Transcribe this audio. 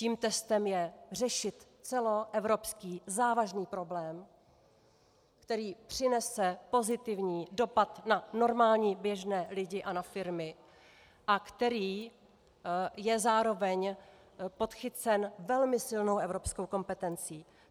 Tím testem je řešit celoevropsky závažný problém, který přinese pozitivní dopad na normální běžné lidi a na firmy a který je zároveň podchycen velmi silnou evropskou kompetencí.